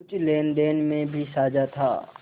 कुछ लेनदेन में भी साझा था